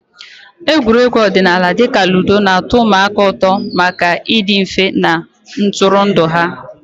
Egwuregwu ọdịnala dị ka ludo na-atọ ụmụaka ụtọ maka ịdị mfe na ntụrụndụ ha.